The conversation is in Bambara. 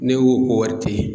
N'e ko ko wari tɛ ye